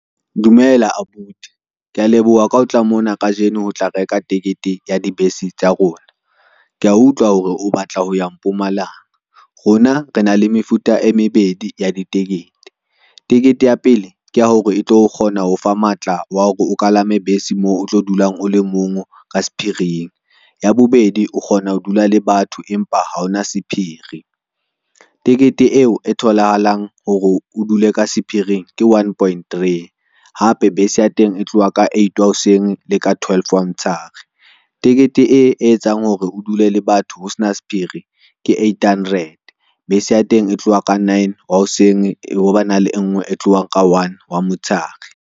Dumela abuti, ke a leboha ka ho tla mona kajeno ho tla reka tekete ya dibese tsa rona kea utlwa hore o batla ho ya Mpumalanga. Rona re na le mefuta e mebedi ya di tekete. Tekete ya pele ke ya hore e tlo kgona ho fa matla wa hore, o kalame bese mo o tlo dulang ole mong ka sephiring. Ya bobedi, o kgona ho dula le batho, empa ha hona sephiri. Tekete eo e tholahalang hore o dule ka sephiring ke one point three, hape, bese ya teng e tloha ka eight hoseng le ka twelve wa motsheare. Tekete e etsang hore o dule le batho ho sena sephiri ke eighthundred, bese ya teng e tloha ka nine wa hoseng, ho ba na le e ngwe e tlohang ka one wa motsheare.